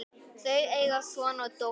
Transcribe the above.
Þau eiga son og dóttur.